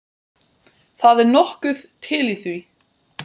Það er nokkuð til í því.